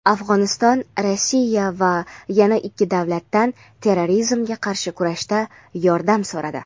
Afg‘oniston Rossiya va yana ikki davlatdan terrorizmga qarshi kurashda yordam so‘radi.